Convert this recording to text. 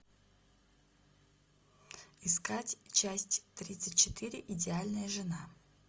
искать часть тридцать четыре идеальная жена